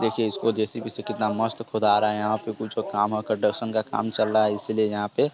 देखिये इसको जे_सी_बी से कितना मस्त खुदा जा रहा है यहाँ पे कुछ काम कंस्ट्रक्शन चल रहा है इस लिए यहाँ पे--